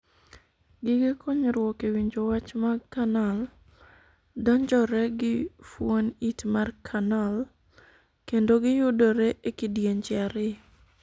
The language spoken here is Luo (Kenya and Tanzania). Gige konyruok e winjo wch mag 'canal' donjore gi fuon it mar 'canal', kendo giyudore e kidienje ariyo.